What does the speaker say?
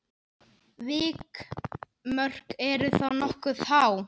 Vikmörk eru þá nokkuð há.